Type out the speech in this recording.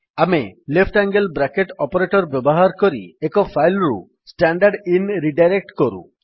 ଆମେ left angle bracket operator ବ୍ୟବହାର କରି ଏକ ଫାଇଲ୍ ରୁ ଷ୍ଟାଣ୍ଡରଦିନ ରିଡାଇରେକ୍ଟ୍ କରୁ